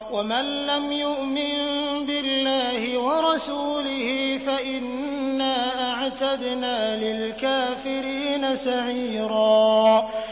وَمَن لَّمْ يُؤْمِن بِاللَّهِ وَرَسُولِهِ فَإِنَّا أَعْتَدْنَا لِلْكَافِرِينَ سَعِيرًا